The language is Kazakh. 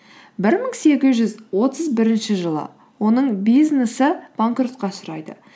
бір мың сегіз жүз отыз бірінші жылы оның бизнесі банкротқа ұшырайды